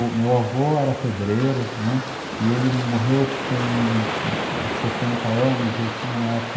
O meu avô era pedreiro e ele morreu com setenta anos e eu tinha na época